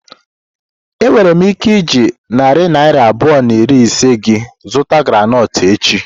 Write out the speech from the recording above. Enwere m ike iji narị naira abụọ na iri ise gị zụta groundnut echi?